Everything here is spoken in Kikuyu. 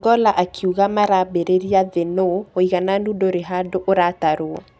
Ogolla akĩuga maraamberĩria thĩ nũ ũigananu ndũrĩhandũ ũratarwo.